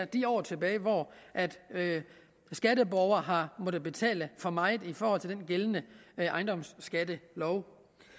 de år tilbage hvor skatteborgere har måttet betale for meget i forhold til den gældende ejendomsskattelov